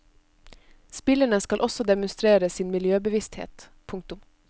Spillerne skal også demonstrere sin miljøbevissthet. punktum